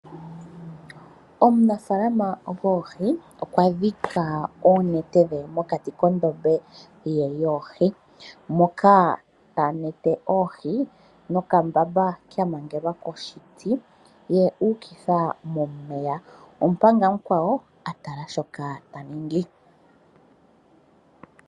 Omunafaalana goohi okwa dhika oonete dhe mokati kondombe ye yoohi, moka ta nete oohi nokambamba kamangelwa koshiti ye uukitha momeya, omanga omukwawo a tala shoka ta ningi.